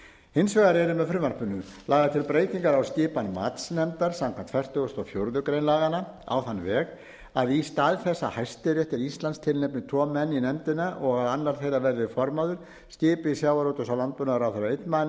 hins vegar eru með frumvarpinu lagðar til breytingar á skipan matsnefndar samkvæmt fertugustu og fjórðu grein laganna á þann veg að í stað þess að hæstiréttur íslands tilnefni tvo menn í nefndina og að annar þeirra verði formaður skipi sjávarútvegs og landbúnaðarráðherra einn mann